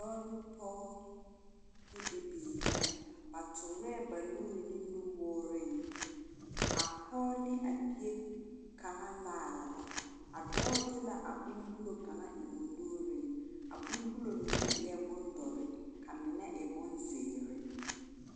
Dɔɔ ne pɔge ne bibiiri ra. Ba toorɛɛ ba nuuri ne nuwooreŋ a pɔge ne a bie kaŋ laara la. A dɔɔ de la abombulo kaŋ eŋ o nuuriŋ. A bombulo mine eɛ bondɔre, ka mine e bonzeere.